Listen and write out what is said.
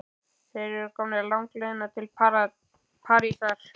Þeir eru komnir langleiðina til Parísar.